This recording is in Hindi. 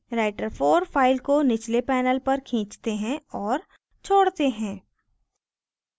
writer4 file को निचले panel पर खींचते हैं और छोड़ते हैं